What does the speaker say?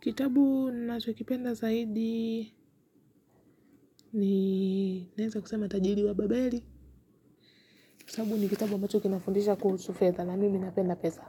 Kitabu nacho kipenda zaidi ni naneza kusema tajiri wa babeli. Kitabu ni kitabu ambacho kinafundisha kuhusu fetha na mimi napenda pesa.